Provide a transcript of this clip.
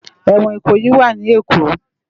Éwòn Ikoyi wà ni Ékó